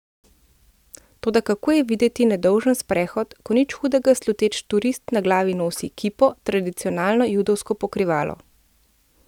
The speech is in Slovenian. Toda kako je videti nedolžen sprehod, ko nič hudega sluteči turist na glavi nosi kipo, tradicionalno judovsko pokrivalo?